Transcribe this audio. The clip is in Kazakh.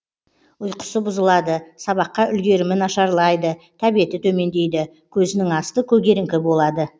ұйқысы бұзылады сабаққа үлгерімі нашарлайды тәбеті төмендейді көзінің асты көгеріңкі болады